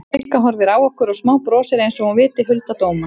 Sigga horfir á okkur og smábrosir einsog hún viti hulda dóma.